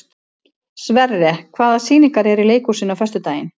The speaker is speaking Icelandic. Sverre, hvaða sýningar eru í leikhúsinu á föstudaginn?